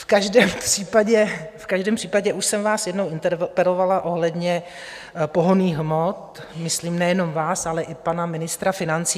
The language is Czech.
V každém případě už jsem vás jednou interpelovala ohledně pohonných hmot, myslím nejenom vás, ale i pana ministra financí.